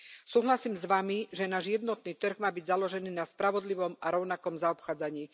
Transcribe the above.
Súhlasím s Vami, že náš jednotný trh má byť založený na spravodlivom a rovnakom zaobchádzaní.